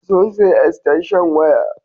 Sun sayi estanshan waya.